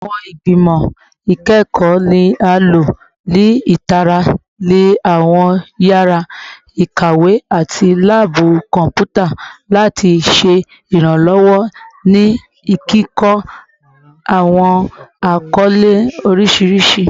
Awọn igbimọ ikẹkọ ni a lo ni itara ni awọn yara ikawe ati laabu kọnputa lati ṣe iranlọwọ ni kikọ awọn akọle oriṣiriṣi